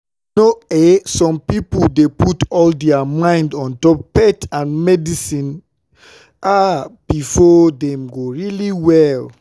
you know eh some pipo dey put all dia mind ontop faith and medicine ah befor dem go really well?